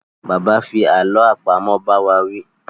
Bàbá fi àlọ́ àpamọ̀ bá wá wí